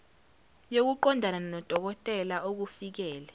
yokuqondana nodokotela okufikele